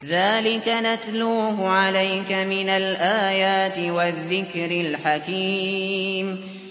ذَٰلِكَ نَتْلُوهُ عَلَيْكَ مِنَ الْآيَاتِ وَالذِّكْرِ الْحَكِيمِ